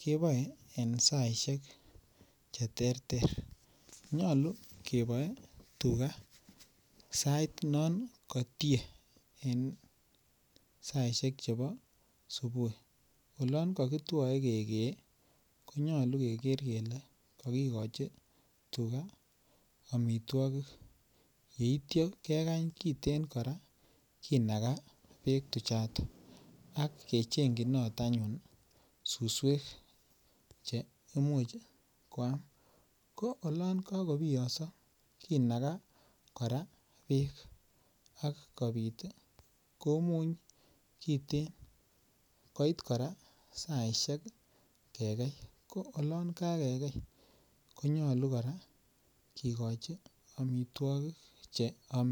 keboen en saisek cheter ter nyolu keboen tuga en sait noon Katie en saisiek chebo subui . Olon kakitua kekee konyalu keker kele kakikochi tuga amituagik yeitia kekeny kiten kora kinaga bek tuchon akecheng'chi susuek cheimuche koam ko olon kakobiyaso kinaga bek akobiit komuny kiten koit kora saisiek kekei , ko olon kakekei konyolu kikochi amituagig.